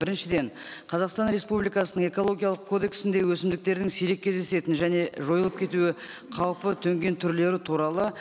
біріншіден қазақстан республикасының экологиялық кодексінде өсімдіктердің сирек кездесетін және жойылып кетуі қаупі төнген түрлері туралы